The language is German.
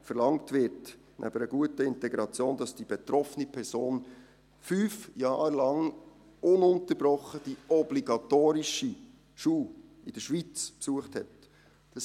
Verlangt wird, nebst einer guten Integration, dass die betroffene Person 5 Jahre lang ununterbrochen die obligatorische Schule in der Schweiz besucht hat.